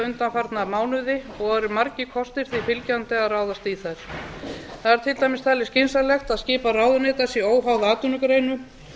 undanfarna mánuði og eru margir kostir því fylgjandi að ráðast í þær það er til dæmis talið skynsamlegt að skipan ráðuneyta sé óháð atvinnugreinum